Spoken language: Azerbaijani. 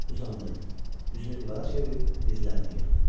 Uzandı, üzünü divara çevirib dizlərini yığdı.